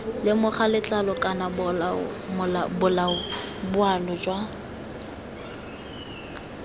lemoga letlalo kana boalo jwa